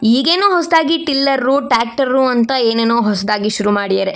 ಈಗೇನೋ ಹೊಸದಾಗಿ tiller tractor ಅಂತ ಏನೇನೋ ಹೊಸದಾಗಿ ಶುರು ಮಾಡಿದ್ದಾರೆ.